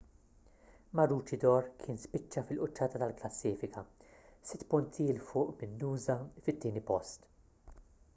maroochydore kien spiċċa fil-quċċata tal-klassifika sitt punti l fuq minn noosa fit-tieni post